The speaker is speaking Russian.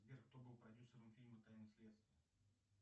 сбер кто был продюсером фильма тайны следствия